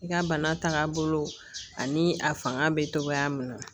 I ka bana taga bolo ani a fanga bɛ togoya min na